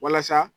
Walasa